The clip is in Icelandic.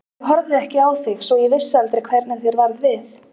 Ég horfði ekki á þig svo ég vissi aldrei hvernig þér varð við.